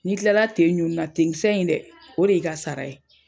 Ni kilala ten ɲun nina, ten kisɛ in dɛ, o de y' ii ka sara ye.